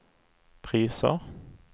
priser